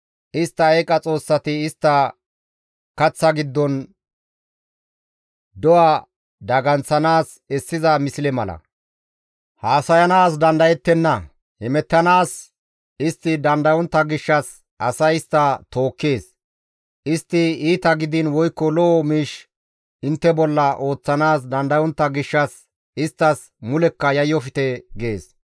Istta eeqa xoossati istta kaththa giddon do7a daganththanaas essiza misle mala. Haasayanaas dandayettenna. Hemettanaas istti dandayontta gishshas asay istta tookkees. Istti iita gidiin woykko lo7o miish intte bolla ooththanaas dandayontta gishshas isttas mulekka yayyofte» gees.